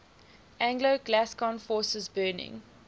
anglo gascon forces burning